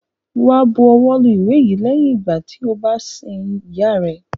Wá bu ọwọ́ lu ìwé yìí lẹ́yìn ìgbà tí o bá sin ìyá rẹ!